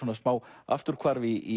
smá afturhvarf í